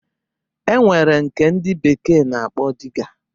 E nwere nke ndị bekee na-akpọ Diga